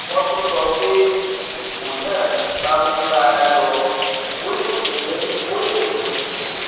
wọ́n tún sọ pé bí ipò náà bá ń bá a lọ ó lè mú ó lè mú kí